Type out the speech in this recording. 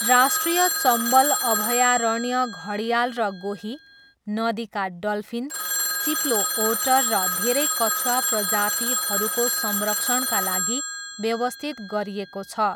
राष्ट्रिय चम्बल अभयारण्य घडियाल र गोही, नदीका डल्फिन, चिप्लो ओटर र धेरै कछुवा प्रजातिहरूको संरक्षणका लागि व्यवस्थित गरिएको छ।